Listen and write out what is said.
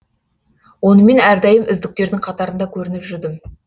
онымен әрдайым үздіктердің қатарында көрініп жүрдім